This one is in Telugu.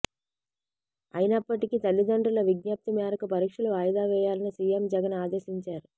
అయినప్పటికీ తల్లిదండ్రుల విజ్ఞప్తి మేరకు పరీక్షలు వాయిదా వేయాలని సీఎం జగన్ ఆదేశించారు